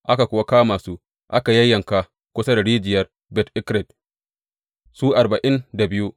Aka kuwa kama su aka yayyanka kusa da rijiyar Bet Eked, su arba’in da biyu.